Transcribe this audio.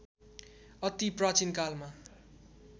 अति प्राचीन कालमा